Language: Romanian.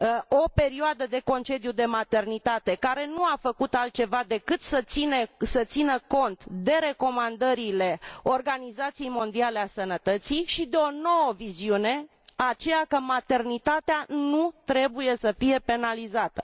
O perioadă de concediu de maternitate, care nu a făcut altceva decât să țină cont de recomandările Organizației Mondiale a Sănătății și de o nouă viziune aceea că maternitatea nu trebuie să fie penalizată.